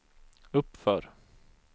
uppför